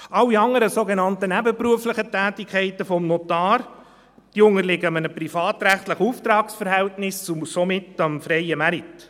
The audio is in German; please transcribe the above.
Alle anderen, sogenannt nebenberuflichen Tätigkeiten des Notars unterliegen einem privatrechtlichen Auftragsverhältnis und somit dem freien Markt.